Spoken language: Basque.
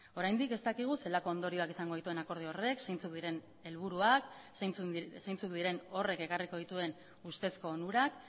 oraindik ez dakigu zelako ondorioak izango dituen akordio horrek zeintzuk diren helburuak zeintzuk diren horrek ekarriko dituen ustezko onurak